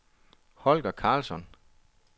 Holger Karlsson